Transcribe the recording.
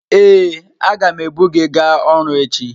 Ee, agam ebu gị gaa ọrụ echi.